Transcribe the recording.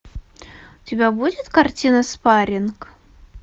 у тебя будет картина спарринг